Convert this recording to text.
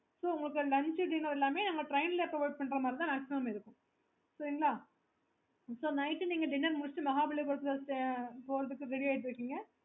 so உங்களுக்கு lunch dinner எல்லாமே நாங்க train ல provide பண்ணுற மாதிரி தான் maximum இருக்கும் சரிங்களா so night நீங்க dinner முடிச்சிட்டு Mahabalipuram போறதுக்கு ready ஆயிட்டு இருப்பீங்க